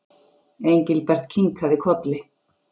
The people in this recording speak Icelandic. Engilbert kinkaði kolli.